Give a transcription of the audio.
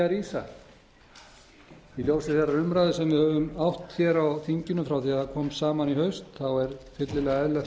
rísa í ljósi þeirrar umræðu sem við höfum átt hér á þinginu frá því það kom saman í haust er fyllilega eðlilegt að